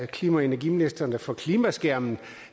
klima og energiministeren kalder for klimaskærmen